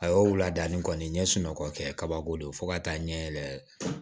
A y'o ladiya ni kɔni ye n ye sunɔgɔ kɛ kabako don fo ka taa ɲɛ yɛlɛ